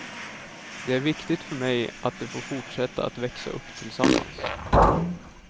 Det är viktigt för mig att de får fortsätta att växa upp tillsammans.